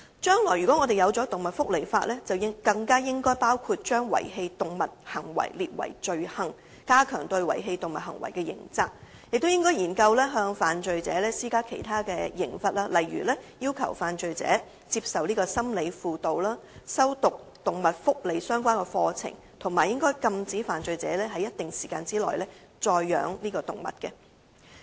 如果香港將來制定動物福利法例，更應該將遺棄動物行為列為罪行，加強對遺棄動物行為的刑責，亦應研究向犯罪者施加其他刑罰，例如要求犯罪者接受心理輔導、修讀有關動物福利的課程，以及禁止犯罪者在一定時間內再飼養動物。